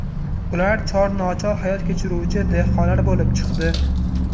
Ular chor-nochor hayot kechiruvchi dehqonlar bo‘lib chiqdi.